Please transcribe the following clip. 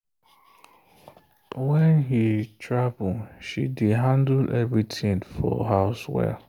when he travel she dey handle everything for house well.